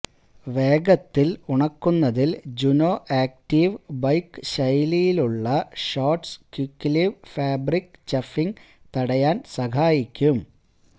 വേഗത്തിൽ ഉണക്കുന്നതിൽ JunoActive bike ശൈലിയിലുള്ള ഷോർട്ട്സ് ക്വിക്ക്ലിവ് ഫാബ്രിക് ചഫിംഗ് തടയാൻ സഹായിക്കും